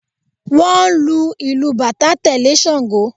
Wọ́n ń lu ìlù bàtá tẹ̀lé Ṣangó